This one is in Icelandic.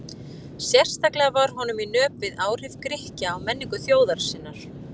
Sérstaklega var honum í nöp við áhrif Grikkja á menningu þjóðar sinnar.